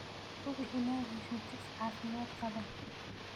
Hubi inaad hesho chicks caafimaad qaba.